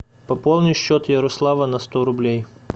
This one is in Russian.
пополни счет ярослава на сто рублей